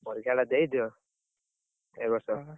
ପରୀକ୍ଷାଟା ଦେଇଦିଅ ଏଇ, ବର୍ଷ